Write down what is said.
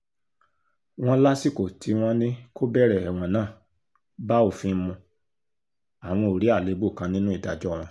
wòn lásìkò tí wọ́n ní kó bẹ̀rẹ̀ ẹ̀wọ̀n náà bá òfin mu àwọn ò rí àléébù kan nínú ìdájọ́ wọn